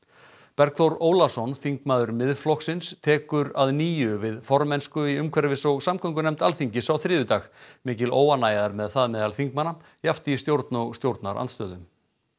Bergþór Ólason þingmaður Miðflokksins tekur að nýju við formennsku í umhverfis og samgöngunefnd Alþingis á þriðjudag mikil óánægja er með það meðal þingmanna jafnt í stjórn og stjórnarandstöðu